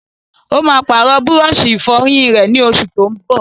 Ó máa pàrọ̀ búrọ́sì-ìfọyín rẹ̀, ní oṣù tó n bọ̀.